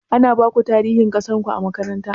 Ana baku tarihin ƙasarku a makaranta?